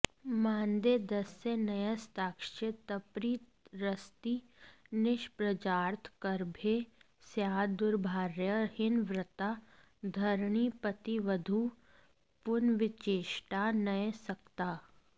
मान्दे दास्यन्यसक्ताश्चितपतिरसती निष्प्रजार्थार्कभे स्याद् दुर्भार्या हिनवृत्ता धरणिपत्तिवधूः पुंविचेष्टान्यसक्ता